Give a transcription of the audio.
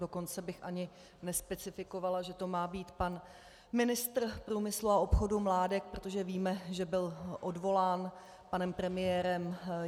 Dokonce bych ani nespecifikovala, že to má být pan ministr průmyslu a obchodu Mládek, protože víme, že byl odvolán panem premiérem.